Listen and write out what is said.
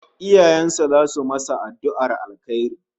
Iyayen sa zasu masa addu'ar alheri